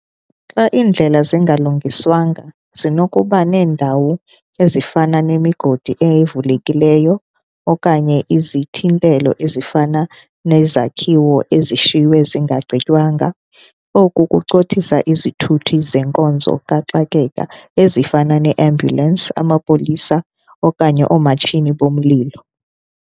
Xa iindlela zingalungiswanga zinokuba neendawo ezifana nemigodi evulekileyo okanye izithintelo ezifana nezakhiwo ezishiywe zingagqitywanga. Oku kucothisa izithuthi zenkonzo kaxakeka ezifana ne-ambulance, amapolisa okanye oomatshini bomlilo.